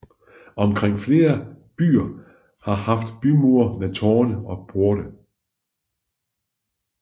Omkring flere byer har haft bymure med tårne og porte